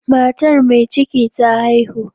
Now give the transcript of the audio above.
Matar mai ciki ta haihu.